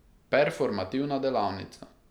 Performativna delavnica.